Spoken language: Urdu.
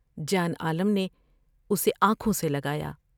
جان عالم نے اسے آنکھوں سے لگایا ۔